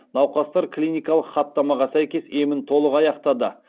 науқастар клиникалық хаттамаға сәйкес емін толық аяқтады